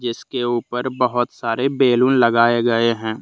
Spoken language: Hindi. इसके ऊपर बहुत सारे बैलून लगाए गए हैं।